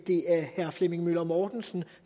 herre flemming møller mortensens